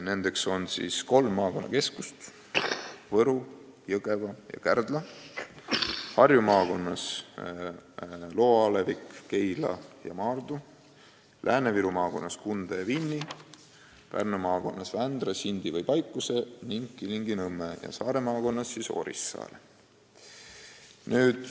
Need on siis kolm maakonnakeskust – Võru, Jõgeva ja Kärdla –, Harju maakonnas Loo alevik, Keila ja Maardu, Lääne-Viru maakonnas Kunda ja Vinni, Pärnu maakonnas Vändra, Sindi või Paikuse ja Kilingi-Nõmme ning Saare maakonnas Orissaare.